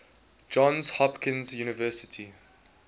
johns hopkins university